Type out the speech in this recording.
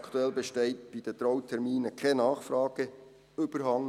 Aktuell besteht bei den Trauterminen insgesamt kein Nachfrageüberhang.